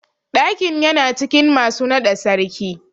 Madakin yana cikin masu naɗa sarki.